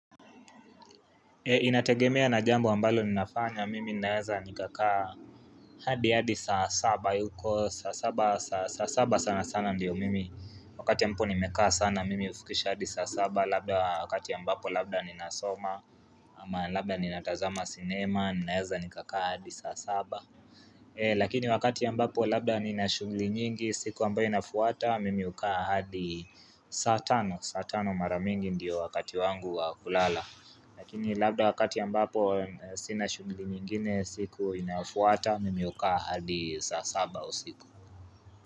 Inategemea na jambo ambalo ninafanya mimi ninaweza nikakaa hadi hadi saa saba huko saa saba saa saba sana sana ndiyo mimi Wakati ambapo nimekaa sana mimi hufikisha hadi saa saba labda wakati ambapo labda ninasoma ama labda ninatazama sinema ninaeza nikakaa hadi saa saba lakini wakati ya mbapo labda ninashughuli nyingi siku ambayo inafuata mimi hukaa hadi saa tano saa tano maramingi ndiyo wakati wangu wa kulala Lakini labda wakati ambapo sina shughuli nyingine siku inafuata mimi hukaa hadi saa saba usiku.